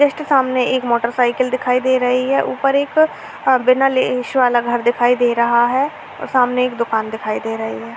सामने एक मोटरसाइकल दिखाई दे रही है ऊपर एक बिना वाला घर दिख रहा है सामने एक दुकान दिखाई दे रही है ।